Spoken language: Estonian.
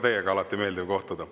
Mul on ka alati meeldiv teiega kohtuda.